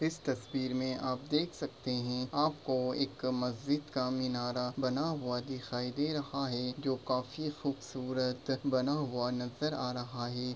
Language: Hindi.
इस तस्वीर मैं आप देख सकते है आपको एक मस्जिद का मीनारा बना हुआ दिखाई दे रहा है जो काफी खूबसूरत बना हुआ नज़र आ रहा है।